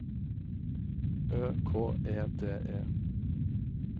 Ø K E D E